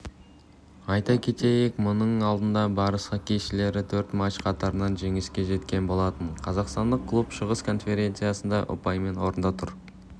айта кетейік мұның алдында барыс іоккейшілері төрт матч қатарынан жеңіске жеткен болатын қазақстандық клуб шығыс конференцияда ұпаймен орында тұр